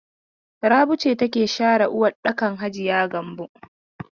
Rabi ce take share waɗɗakan hajiya Gambo?